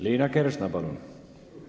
Liina Kersna, palun!